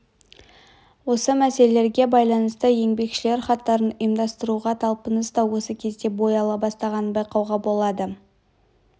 осы мәселелерге байланысты еңбекшілер хаттарын ұйымдастыруға талпыныс та осы кезде бой ала бастағанын байқауға болады